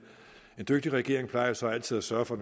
en dygtig regering plejer jo så altid at sørge for